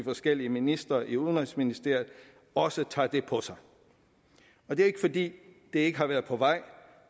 forskellige ministre i udenrigsministeriet også tager det på sig og det er ikke fordi det ikke har været på vej